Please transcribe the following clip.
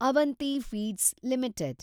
Avanti feeds limited